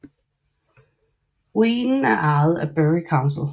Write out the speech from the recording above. Ruinen er ejet af Bury council